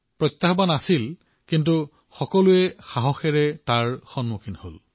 প্ৰত্যাহ্বান আহিছে কিন্তু তেওঁলোকে নিজৰ শক্তিৰে ইয়াৰ সন্মুখীনো হৈছে